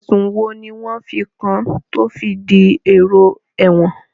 Ẹ̀sùn wo ni wọ́n fi kàn án tí ó fi dèrò ẹ̀wọ̀n?